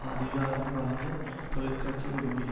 அதிகாரம் வழங்க தொழிற்கட்சி விரும்புகி